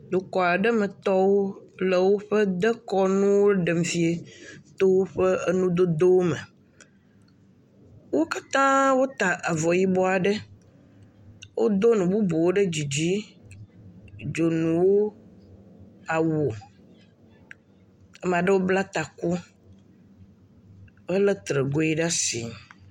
Dukɔ aɖe metɔwo le woƒe dekɔnuwo ɖem fia to woƒe enudodowo me, wo katã wota avɔ yibɔ aɖe, wodo nu bubuwo ɖe dzidzi dzonuwo, awu, ame aɖewo bla taku helé Tregoe ɖe asi.